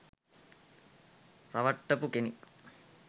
රවට්ටපු කෙනෙක්.